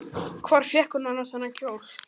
Hvar fékk hún annars þennan kjól?